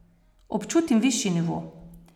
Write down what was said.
Občutim višji nivo.